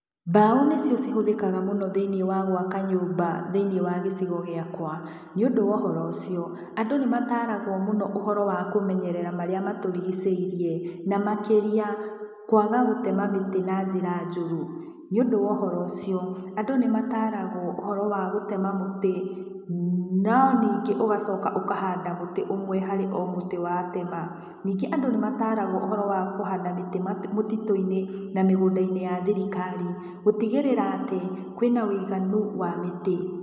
Mbaũ nĩcio cihũthĩkaga mũno thĩinĩ gwaka nyũmba thĩinĩ wa gĩcigo gĩakwa. Nĩũndũ wa ũhoro ũcio, andũ nĩmataragwo mũno ũhoro wa kũmenyerera marĩa matũrigicĩirie, na makĩria, kwaga gũtema mĩtĩ na njĩra njoru. Nĩũndũ wa ũhoro ũcio, andũ nĩmataragwo ũhoro wa gũtema mũtĩ, no ningĩ ũgacoka ũkahanda mũtĩ ũmwe o harĩ mũtĩ watema. Ningĩ andũ nĩmataragwo ũhoro wa kũhanda mĩtĩ mũtitũ-inĩ na mĩgũndainĩ ya thirikari, gũtigĩrĩra atĩ, kwĩna ũiganu wa mĩtĩ.